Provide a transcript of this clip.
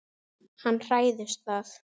Hann hræðist það.